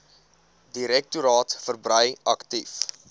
direktoraat verbrei aktief